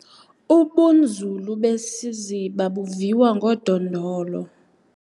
Ubunzulu besiziba buviwa ngodondolo.